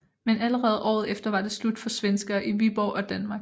Men allerede året efter var det slut for svenskere i Viborg og Danmark